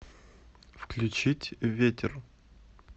включить ветер